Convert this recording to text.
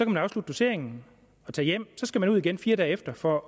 man afslutte doseringen og tage hjem og så skal man ud igen fire dage efter for